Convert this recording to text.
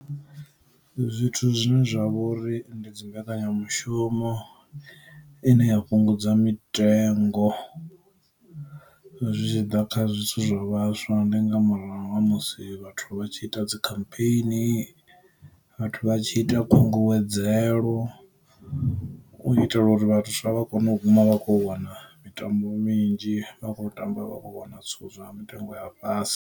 Zwithu zwine zwa vha uri ndi dzi mbekanyamushumo ine ya fhungudza mitengo zwi tshi ḓa kha zwithu zwa vhaswa, ndi nga murahu ha musi vhathu vha tshi ita dzi khampheini, vhathu vha tshi ita khunguwedzelo, u itela uri vhaswa vha kone u guma vha kho wana mitambo minzhi vha kho tamba vha kho wana zwithu zwa nga mutengo wa fhasi.